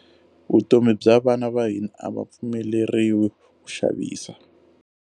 Vutomi bya vana va hina a va pfumeleriwi ku xavisa.